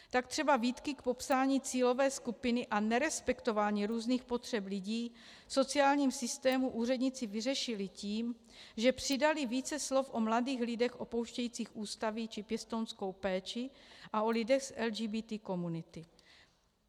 Tak třeba výtky k popsání cílové skupiny a nerespektování různých potřeb lidí v sociálním systému úředníci vyřešili tím, že přidali více slov o mladých lidech opouštějících ústavy či pěstounskou péči a o lidech z LGBT komunity.